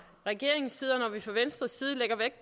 regeringens side